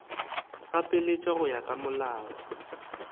gapeletša go ya ka molao